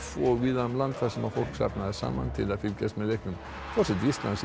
og víða um land þar sem fólk safnaðist saman til að fylgjast með leiknum forseti Íslands sem